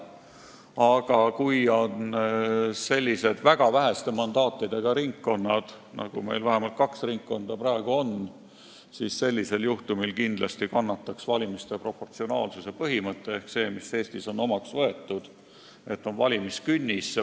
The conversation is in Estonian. Aga sellisel juhtumil, kui on väga väheste mandaatidega ringkonnad – nii nagu meil on praegu vähemalt kaks ringkonda –, kannataks kindlasti valimiste proportsionaalsuse põhimõte ehk see, mis on Eestis omaks võetud, nimelt valimiskünnis.